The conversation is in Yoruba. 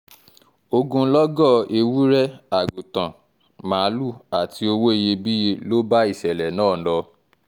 ogunlọ́gọ̀ ewúrẹ́ àgùntàn màálùú àti owó iyebíye ló bá ìṣẹ̀lẹ̀ náà lọ